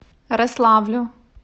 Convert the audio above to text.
рославлю